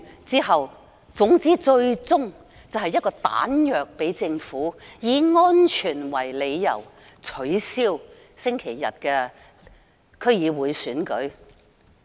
總之，最終的目的，是給政府彈藥，以安全為理由取消星期日的區議會選舉。